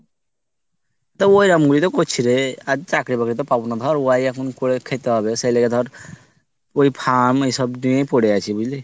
তা ওইরকম ভাবেই তো করছিরে আর চাকরি বাকরি তো পাবো না ধর। ওই এখন করে খেতে হবে সেই লেগে ধর ওই farm এই সব নিয়েই পরে আছি বুঝলি।